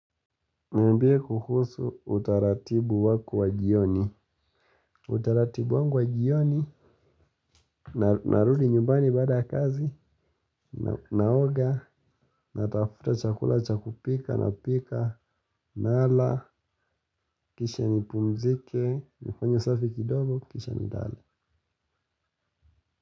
Niambie kuhusu utaratibu wako wa jioni. Utaratibu wangu wa jioni. Narudi nyumbani baada ya kazi. Naoga. Natafuta chakula cha kupika napika. Nala. Kisha nipumzike. Nifanye usafi kidogo kisha nilale.